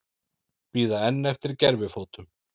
Bíða enn eftir gervifótum